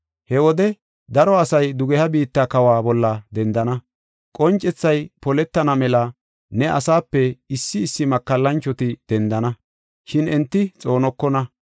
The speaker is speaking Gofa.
He wode daro asay dugeha biitta kawa bolla dendana. Qoncethay poletana mela ne asaape issi issi makallanchoti dendana, shin enti xoonokona.